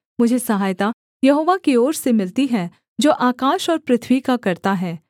मुझे सहायता यहोवा की ओर से मिलती है जो आकाश और पृथ्वी का कर्ता है